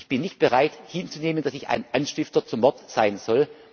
Ich bin nicht bereit hinzunehmen, dass ich ein Anstifter zum Mord sein soll.